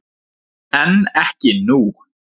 En ekki nú.